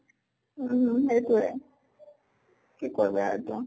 উম উম সেইটোয়ে। কি কৰ বা